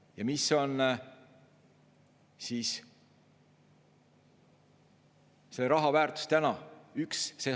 Ja mis on see raha väärtus täna?